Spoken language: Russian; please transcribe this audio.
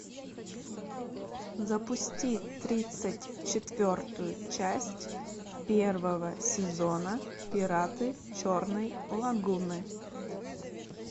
запусти тридцать четвертую часть первого сезона пираты черной лагуны